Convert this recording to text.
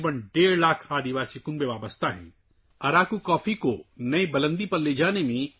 تقریباً 1.5 لاکھ قبائلی خاندان اراکو کافی کی کاشت سے وابستہ ہیں